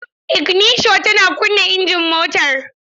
Iginisho tana kunna injin motar.